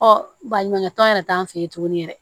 Ɔ baɲumankɛ tɔn yɛrɛ t'an fɛ yen tuguni yɛrɛ